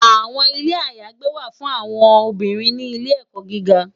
Awòn Ilé àyágbé wá fún áwòn òkúnrín ni ilé èkò gìgá